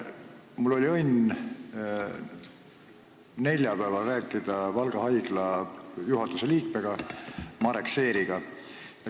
Mul oli õnn neljapäeval rääkida Valga Haigla juhatuse liikme Marek Seeriga.